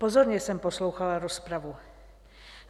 Pozorně jsem poslouchala rozpravu.